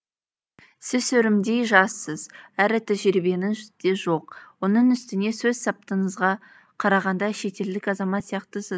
сіз өрімдей жассыз әрі тәжірибеңіз де жоқ оның үстіне сөз саптысыңызға қарағанда шетелдік азамат сияқтысыз